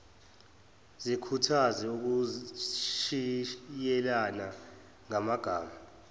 zikhuthaze ukushiyelana ngamagama